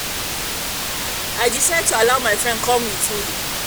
i um don um decide to allow my friend come with me